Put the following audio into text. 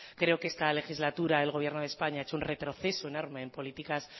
creo que en esta legislatura el gobierno de españa ha hecho un retroceso enorme en políticas